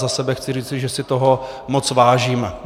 Za sebe chci říci, že si toho moc vážím.